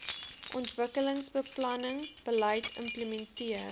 ontwikkelingsbeplanning beleid implementeer